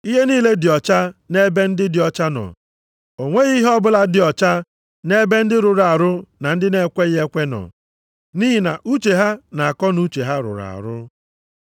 Ihe niile dị ọcha nʼebe ndị dị ọcha nọ, o nweghị ihe ọbụla dị ọcha nʼebe ndị rụrụ arụ na ndị na-ekweghị ekwe nọ. Nʼihi na uche ha na akọnuche ha rụrụ arụ.